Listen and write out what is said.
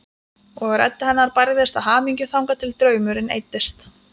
Og rödd hennar bærðist af hamingju þangað til draumurinn eyddist.